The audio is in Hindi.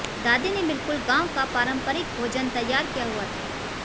दादी ने बिल्कुल गांव का पारंपरिक भोजन तैयार किया हुआ था